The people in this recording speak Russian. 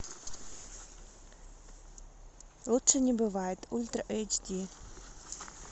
лучше не бывает ультра эйч ди